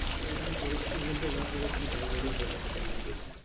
আমাকে এখন পরিক্ষার মধ্যে যা পরেছি তাই পরে পরীক্ষা দেওয়া লাগবে